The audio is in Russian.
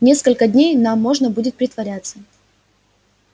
несколько дней нам можно будет притворяться